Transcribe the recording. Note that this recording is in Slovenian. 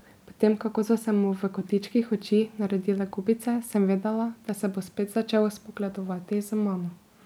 Po tem, kako so se mu v kotičkih oči naredile gubice, sem vedela, da se bo spet začel spogledovati z mano.